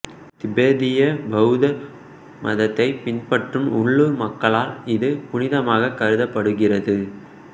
திபெத்திய பெளத்த மதத்தை பின்பற்றும் உள்ளூர் மக்களால் இது புனிதமாக கருதப்படுகிறது